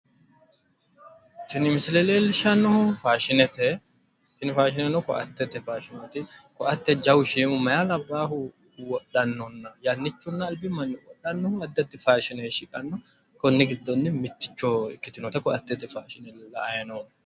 Tini misile leellishshannohuno faashinete, tini faashineno kowaatete faashineeti kowaate jawu shiimi meyaa labbahu wodhannonna yannichunna albi manni qodhanno addi addi faashine shiqanno konni giddonni mitticho ikkitinota koaattete faashine la"ay noommo